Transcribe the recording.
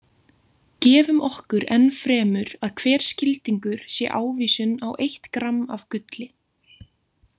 Gefum okkur enn fremur að hver skildingur sé ávísun á eitt gramm af gulli.